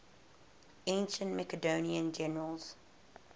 ancient macedonian generals